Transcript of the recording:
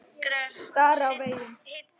Stari á veginn.